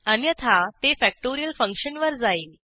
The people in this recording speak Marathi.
अन्यथा ते फॅक्टोरियल फंक्शनवर जाईल